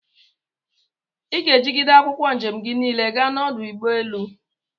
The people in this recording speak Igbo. Iga egide akwụkwọ njem gi nile gaa na ọdụ ụgbọelu!!